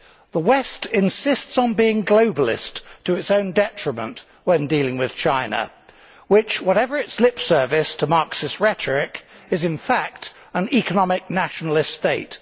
The West insists on being globalist to its own detriment when dealing with China which, whatever its lip service to Marxist rhetoric, is in fact an economic nationalist state.